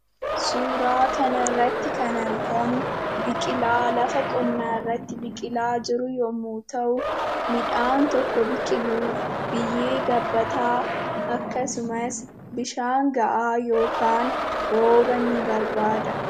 Suuraa kanarratti kan argamu biqilaa lafa qonnaarratti biqilaa jiru yommuu ta'u, Midhaan tokko biqiluuf biyyee gabbataa, akkasumas bishaan gahaa yookaan rooba ni barbaada.